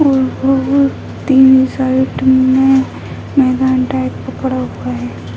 side में मैदान type का --